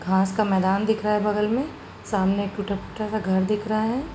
घास का मैदान दिख रहा है बगल में। सामने एक टूटा फूटा सा घर दिख रहा है।